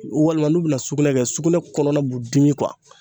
Walima n'u bina sugunɛ kɛ sugunɛ kɔnɔna b'u dimi kuwa